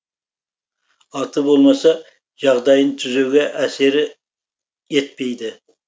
аты болмаса жағдайын түзеуге әсері етпейді